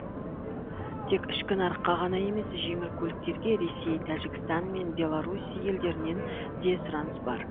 тек ішкі нарыққа ғана емес жеңіл көліктерге ресей тәжікстан мен белорусь елдерінен де сұраныс бар